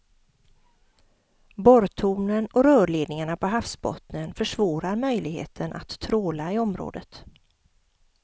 Borrtornen och rörledningarna på havsbottnen försvårar möjligheten att tråla i området.